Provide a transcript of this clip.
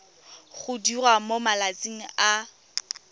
go diriwa mo malatsing a